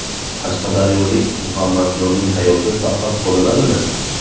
Qashqadaryolik Muhammadjonning hayoti saqlab qolinadimi?.